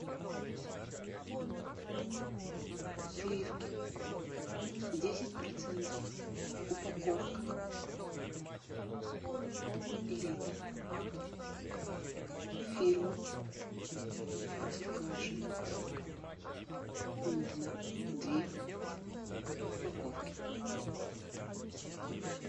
сливки десять процентов упаковка пол литра фирма простоквашино нужно две упаковки